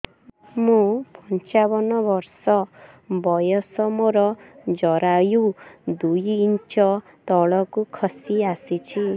ମୁଁ ପଞ୍ଚାବନ ବର୍ଷ ବୟସ ମୋର ଜରାୟୁ ଦୁଇ ଇଞ୍ଚ ତଳକୁ ଖସି ଆସିଛି